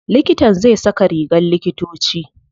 Likitan zai saka rigar likitoci.